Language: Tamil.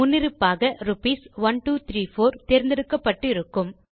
முன்னிருப்பாக ரூப்பி 1234 தேர்ந்தெடுக்கப்பட்டு இருக்கும்